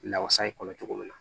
Lawasa in kɔnɔ cogo min na